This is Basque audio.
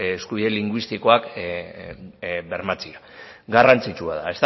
eskubide linguistikoak bermatzea garrantzitsua da